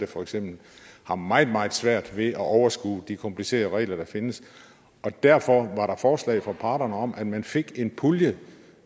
for eksempel meget meget svært ved at overskue de komplicerede regler der findes og derfor var der et forslag fra parterne om at man fik en pulje